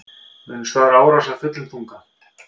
Munu svara árás af fullum þunga